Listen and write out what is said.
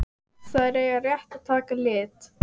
Þær eiga rétt að taka lit.